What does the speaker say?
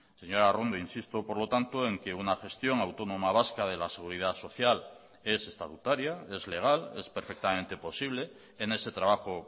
señora arrondo insisto por lo tanto en que una gestión autónoma vasca de la seguridad social es estatutaria es legal es perfectamente posible en ese trabajo